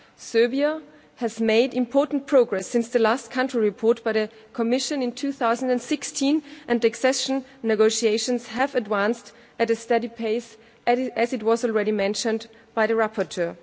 Serbia has made important progress since the last country report by the Commission in 2016 and accession negotiations have advanced at a steady pace, as has already been mentioned by the rapporteur.